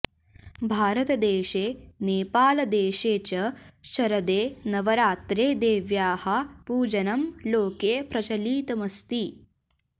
भारतदेशे नेपालदेशे च शरदे नवरात्रे देव्याः पूजनं लोके प्रचलितमस्ति